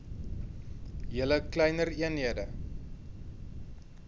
julle kleiner eenhede